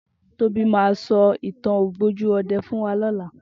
Tobi mà sò itàn ógbójú òdè fún wà lòlá